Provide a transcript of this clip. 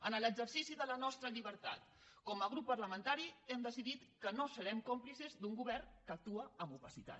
en l’exercici de la nostra llibertat com a grup parlamentari hem decidit que no serem còmplices d’un govern que actua amb opacitat